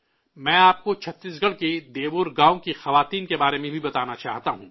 میں آپ کو چھتیس گڑھ کے دیئور گاؤں کی عورتوں کے بارے میں بھی بتانا چاہتا ہوں